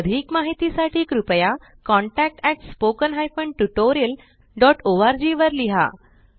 अधिक माहिती साठी कृपया contactspoken tutorialorg वर लिहा